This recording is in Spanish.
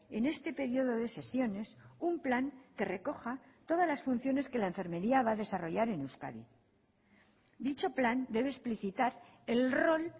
en este periodo de sesiones un plan que recoja todas las funciones que la enfermería va a desarrollar en euskadi dicho plan debe explicitar el rol